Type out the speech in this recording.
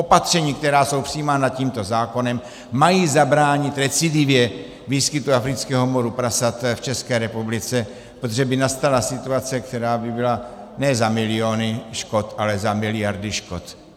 Opatření, která jsou přijímána tímto zákonem, mají zabránit recidivě výskytu afrického moru prasat v České republice, protože by nastala situace, která by byla ne za miliony škod, ale za miliardy škod.